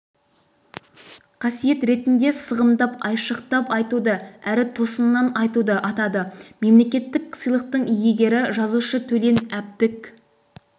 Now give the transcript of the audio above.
қасиет ретінде сығымдап айшықтап айтуды әрі тосыннан айтуды атады мемлекеттік сыйлықтың иегері жазушы төлен әбдік